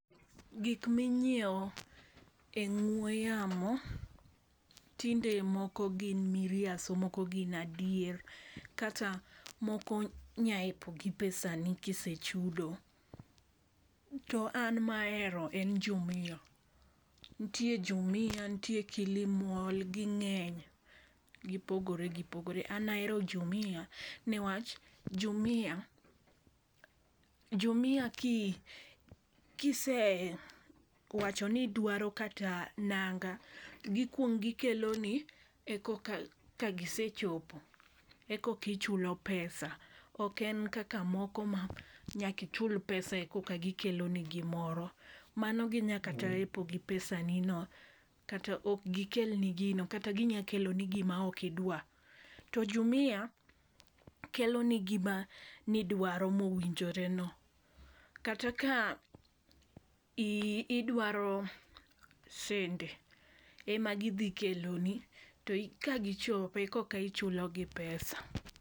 Gik minyiewo e ong'we yamo tinde moko gin miriaso moko gin adier kata moko nya epo gi pesa ni kisechudo . To an mahero en jumia , ntie jumia, ntie kilimall ging'eny gipogore gipogore. An ahero jumia newach jumia jumia ki kise wacho nidwaro kata nanga gikwong gikeloni ekoka kagisechopo ekokichulo pesa, ok en moko mkaka moko manyaki chul pesa eka gikelo ni gimoro mano ginya kata epo gi pesa ni no kata ok gikelni gino kata ginya kelo ni gima ok idwa . To jumia kelo ni gima nidwaro mowinjore no kata ka i idwaro sende ema gidhi keloni to ka gichopo ekokichulo gi pesa.